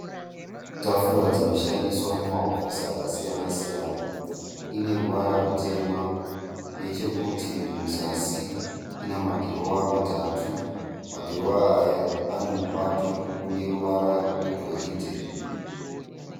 Tafura dzinoshandiswa mumahofisi akasiyana siyana ane ruvara rwutema nechekurutivi rweku zasi pane madhirowa ane mubato une ruvara rwegoridhe.